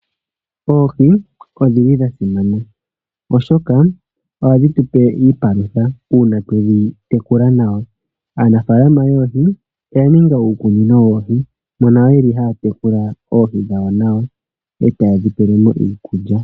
Oohi odhili dha simana oshoka ohadhi tupe iipalutha uuna twedhi tekula nawa aanafaalama yoohi oya ninga uukunino woohi mono yeli taa tekula oohi dhawo nawa etaye dhi tulilemo iikulya.